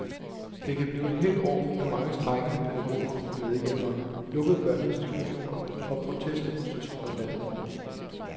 Det kan blive et hedt år med mange strejkende pædagoger og medhjælpere, lukkede børneinstitutioner og protestdemonstrationer landet over.